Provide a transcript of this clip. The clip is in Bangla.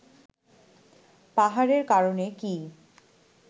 পাহাড়ের কারণে কি